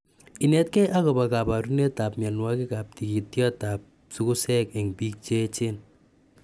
Inetkei akopa kaparunetap mianwokikap tigityotap sugusek eng piik che echen